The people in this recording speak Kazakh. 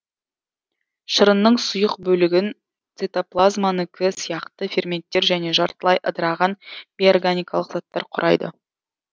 шырынның сұйық бөлігін цитоплазманікі сияқты ферменттер және жартылай ыдыраған бейорганикалық заттар құрайды